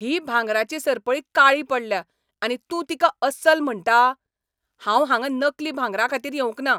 ही भांगराची सरपळी काळी पडल्या आनी तूं तिका अस्सल म्हणटा? हांव हांगा नकली भांगराखातीर येवंक ना!